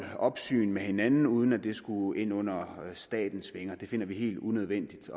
opsyn med hinanden uden at det skulle ind under statens vinger det finder vi helt unødvendigt